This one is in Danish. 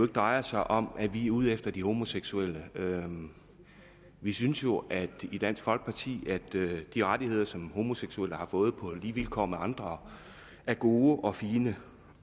drejer sig om at vi er ude efter de homoseksuelle vi synes jo i dansk folkeparti at de rettigheder som homoseksuelle har fået på lige vilkår med andre er gode og fine